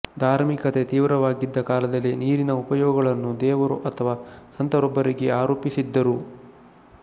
ಧಾರ್ಮಿಕತೆ ತೀವ್ರವಾಗಿದ್ದ ಕಾಲದಲ್ಲಿ ನೀರಿನ ಉಪಯೋಗಗಳನ್ನು ದೇವರು ಅಥವಾ ಸಂತರೊಬ್ಬರಿಗೆ ಆರೋಪಿಸಿದ್ದರು